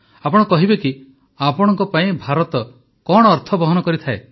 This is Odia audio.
ଆପଣ କହିବେ କି ଆପଣଙ୍କ ପାଇଁ ଭାରତ କଣ ଅର୍ଥ ବହନ କରେ